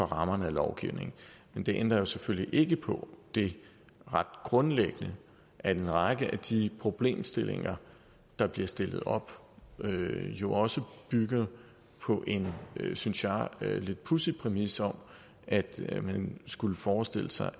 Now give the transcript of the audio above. rammerne af lovgivningen men det ændrer jo selvfølgelig ikke på det ret grundlæggende at en række af de problemstillinger der bliver stillet op jo også bygger på en synes jeg lidt pudsig præmis om at man skulle forestille sig